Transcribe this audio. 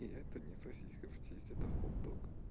и это не сосиска в тесте это хот дог